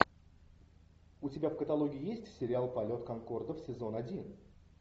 у тебя в каталоге есть сериал полет конкордов сезон один